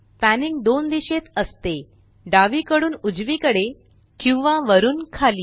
panning दोन दिशेत असते डावीकडून उजवीकडे किंवा वरुन खाली